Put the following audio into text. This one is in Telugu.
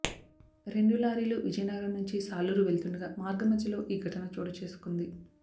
రెండు లారీలు విజయనగరం నుంచి సాలూరు వెళ్తుండగా మార్గమధ్యలో ఈ ఘటన చోటుచేసుకుంది